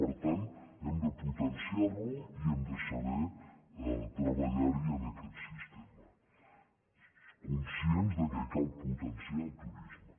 per tant hem de potenciar·lo i hem de saber treballar·hi en aquest sistema conscients que cal potenciar el turisme